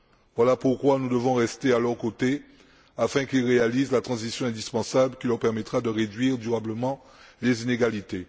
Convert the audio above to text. Voilà pourquoi nous devons rester à leurs côtés afin qu'ils réalisent la transition indispensable qui leur permettra de réduire durablement les inégalités.